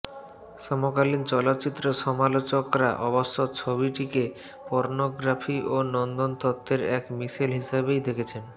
সমকালীন চলচ্চিত্র সমালোচকরা অবশ্য ছবিটিকে পর্ণগ্রাফি ও নন্দনতত্ত্বের এক মিশেল হিসেবেই দেখেছেন